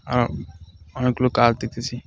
আরও অনেকগুলো কার দেখতেছি .